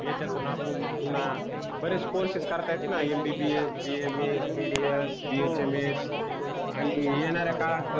याच्यातुन आपुन पुन्हा बरेच कोर्से च करता येतात न MBBSBHMS आणि BDS येणाऱ्या काळात